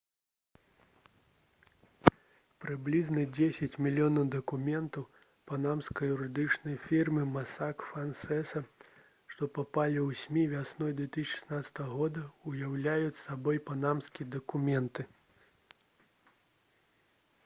прыблізна дзесяць мільёнаў дакументаў панамскай юрыдычнай фірмы «масак фансеса» што папалі ў смі вясной 2016 года уяўляюць сабой «панамскія дакументы»